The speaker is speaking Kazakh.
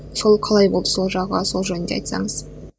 сол қалай болды сол жағы сол жөнінде айтсаңыз